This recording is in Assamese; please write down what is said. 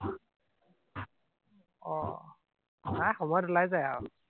আহ নাই, সময়ত ওলাই যায় আও।